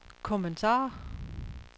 kommentarer